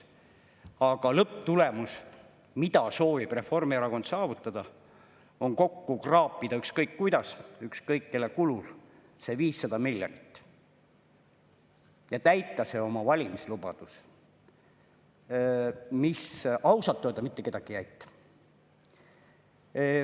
Aga lõpptulemus, mida soovib Reformierakond saavutada, on kokku kraapida ükskõik kuidas, ükskõik kelle kulul see 500 miljonit, ja täita oma valimislubadus, mis ausalt öelda mitte kedagi ei aita.